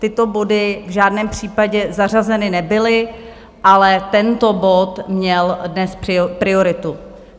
Tyto body v žádném případě zařazeny nebyly, ale tento bod měl dnes prioritu.